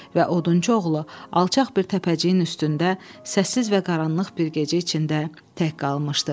Və odunçu oğlu alçaq bir təpəciyin üstündə səssiz və qaranlıq bir gecə içində tək qalmışdı.